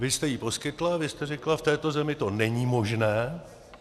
Vy jste ji poskytla, vy jste řekla: v této zemi to není možné.